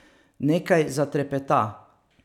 Nekaj zatrepeta.